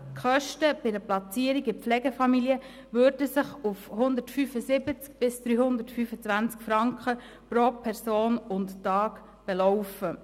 Die Kosten bei der Platzierung in einer Pflegefamilie würden sich auf 175 bis 325 Franken pro Person und Tag belaufen.